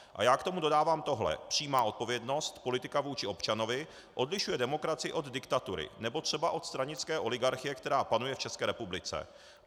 A já k tomu dodávám toto: přímá odpovědnost, politika vůči občanovi odlišuje demokracii od diktatury nebo třeba od stranické oligarchie, která panuje v České republice.